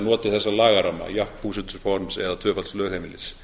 notið þessa lagaramma jafns búsetuforms eða tvöfalds lögheimilis